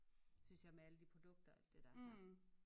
Synes jeg med alle de produkter og alt det dér her